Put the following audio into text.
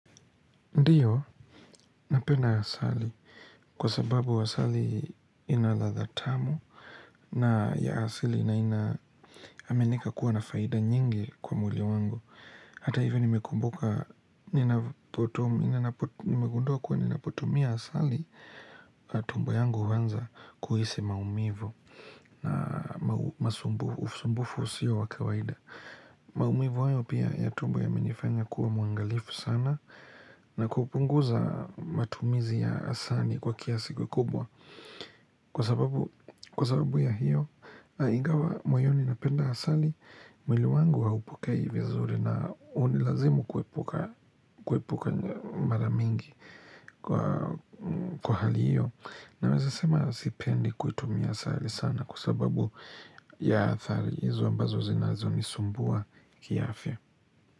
Ndiyo, napenda asali kwa sababu asali ina ladha tamu na ya asili na ina aminika kuwa na faida nyingi kwa mwili wangu. Hata hivi nimekumbuka, nimegundua kuwa ninapotumia asali, tumbo yangu huanza kuhisi maumivu na usumbufu usio wa kawaida. Maumivu hayo pia ya tumbo yamenifanya kuwa muangalifu sana na kupunguza matumizi ya asali kwa kiasi kikubwa Kwa sababu ya hiyo ingawa moyoni napenda asali mwili wangu haupokei vizuri na hunilazimu kuepuka mara mingi kwa hali hiyo Naweza sema sipendi kuitumia asali sana na kwa sababu ya athari izo ambazo zinazo nisumbua kiafya.